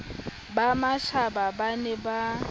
ba mashaba ba ne ba